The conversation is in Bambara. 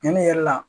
Cɛnni yɛrɛ la